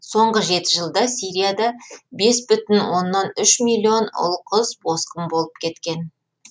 соңғы жеті жылда сирияда бес бүтін оннан үш миллион ұл қыз босқын болып кеткен